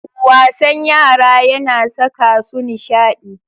Wasan yara yana saka su nishadi.